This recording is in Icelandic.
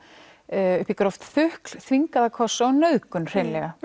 upp í gróft þukl þvingaða kossa og nauðgun hreinlega